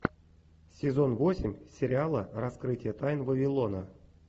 сезон восемь сериала раскрытие тайн вавилона